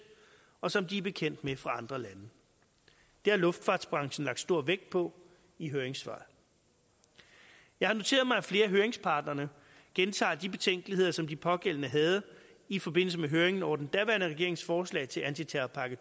og som de er bekendt med fra andre lande det har luftfartsbranchen lagt stor vægt på i høringssvaret jeg har noteret mig at flere af høringsparterne gentager de betænkeligheder som de pågældende havde i forbindelse med høringen over den daværende regerings forslag til anti terrorpakke